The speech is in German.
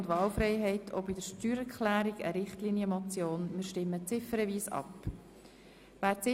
Es ist eine Richtlinienmotion, und wir stimmen ziffernweise darüber ab.